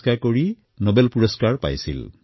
যাৰ বাবে তেওঁক নোবেল বঁটা প্ৰদান কৰা হৈছিল